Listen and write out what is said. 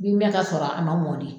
Min bɛ ka sɔrɔ a ma mɔ de